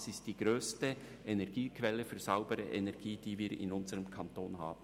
Sie ist die grösste Energiequelle für saubere Energie, die wir in unserem Kanton haben.